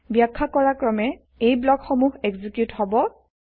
বাখ্যা কৰা ক্ৰমে এই ব্লক সমূহ এক্সিকিউত হব